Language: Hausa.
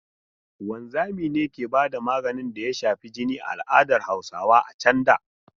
Wanzami ne ke ba da maganin da ya shafi jini a al'adar Hausawa a can da.